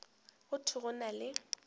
go thwe go na le